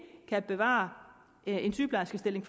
kan bevare en sygeplejerskestilling